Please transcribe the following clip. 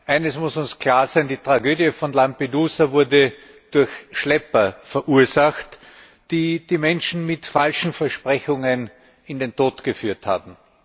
Eines muss uns klar sein Die Tragödie von Lampedusa wurde durch Schlepper verursacht, die die Menschen mit falschen Versprechungen in den Tod geführt haben.